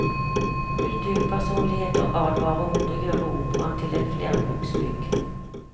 Kulturpersonligheter advarer mot å gjøre operaen til et flerbruksbygg.